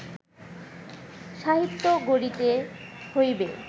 সাহিত্য গড়িতে হইবে